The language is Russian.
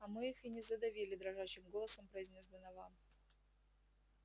а мы их не задавили дрожащим голосом произнёс донован